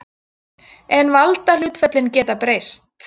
En valdahlutföllin geta breyst.